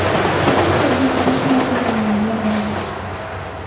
Ko‘pincha, bu qurilish materiallariga bog‘liq.